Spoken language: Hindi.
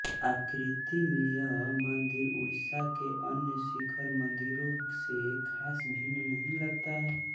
आकृति में यह मंदिर उड़ीसा के अन्य शिखर मंदिरों से खास भिन्न नहीं लगता है